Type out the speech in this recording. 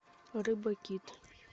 рыба кит